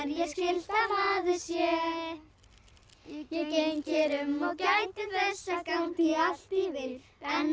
ég skylt að maður sé ég geng hér um og gæti þess að gangi allt í vil en